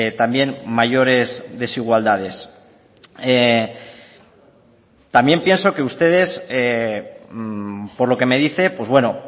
también mayores desigualdades también pienso que ustedes por lo que me dice pues bueno